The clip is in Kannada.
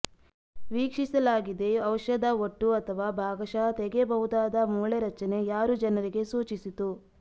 ವೀಕ್ಷಿಸಲಾಗಿದೆ ಔಷಧ ಒಟ್ಟು ಅಥವಾ ಭಾಗಶಃ ತೆಗೆಯಬಹುದಾದ ಮೂಳೆ ರಚನೆ ಯಾರು ಜನರಿಗೆ ಸೂಚಿಸಿತು